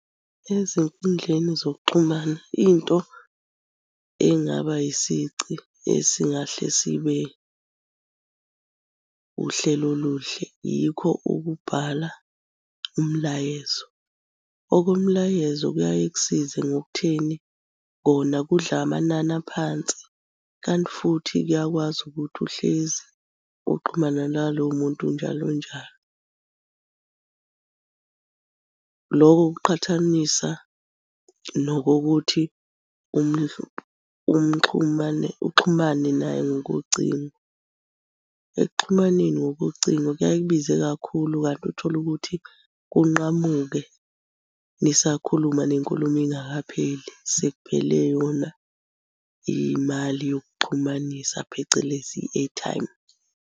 Ezinkundleni zokuxhumana into engaba isici esingahle sibe uhlelo oluhle, yikho ukubhala umlayezo. Okomlayezo kuyaye kusize ngokutheni, kona kudla amanani aphansi, kanti futhi kuyakwazi ukuthi uhlezi uxhumana nalowo muntu njalo njalo. Loko kuqhathanisa nokokuthi uxhumane naye ngokocingo. Ekuxhumaneni ngokocingo kuyaye kubize kakhulu kanti uthole ukuthi kunqamuke nisakhuluma nenkulumo ingakapheli, sekuphele yona imali yokuxhumanisa phecelezi i-airtime.